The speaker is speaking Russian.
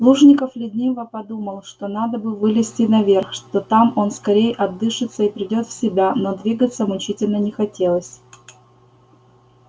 плужников лениво подумал что надо бы вылезти наверх что там он скорее отдышится и придёт в себя но двигаться мучительно не хотелось